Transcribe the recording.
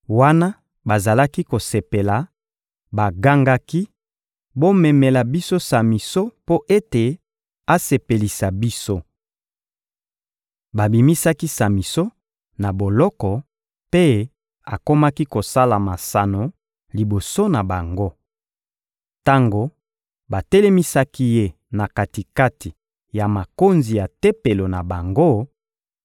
Wana bazalaki kosepela, bagangaki: «Bomemela biso Samison mpo ete asepelisa biso!» Babimisaki Samison na boloko mpe akomaki kosala masano liboso na bango. Tango batelemisaki ye na kati-kati ya makonzi ya tempelo na bango,